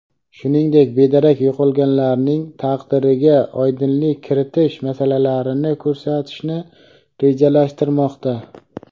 shuningdek bedarak yo‘qolganlarning taqdiriga oydinlik kiritish masalalarini ko‘tarishni rejalashtirmoqda.